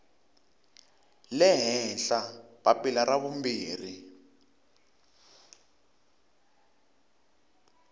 le henhla papila ra vumbirhi